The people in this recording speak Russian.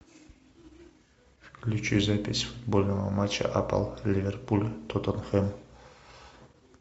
включи запись футбольного матча апл ливерпуль тоттенхэм